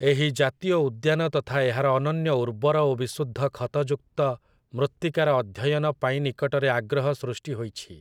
ଏହି ଜାତୀୟ ଉଦ୍ୟାନ ତଥା ଏହାର ଅନନ୍ୟ ଉର୍ବର ଓ ବିଶୁଦ୍ଧ ଖତଯୁକ୍ତ ମୃତ୍ତିକାର ଅଧ୍ୟୟନ ପାଇଁ ନିକଟରେ ଆଗ୍ରହ ସୃଷ୍ଟିହୋଇଛି ।